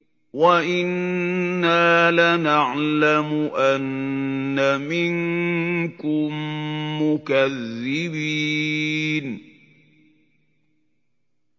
وَإِنَّا لَنَعْلَمُ أَنَّ مِنكُم مُّكَذِّبِينَ